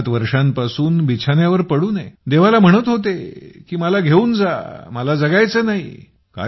67 वर्षांपासून बिछान्यावर पडून आहे देवाला म्हणत होते की मला घेऊन जा मला जगायचं नाही